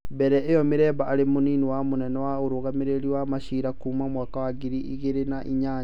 Mbere ĩyo Miremba arĩ mũnini wa mũnene wa ũrũgamĩrĩri wa maciira kuuma mwaka wa ngiri igĩrĩ na inya.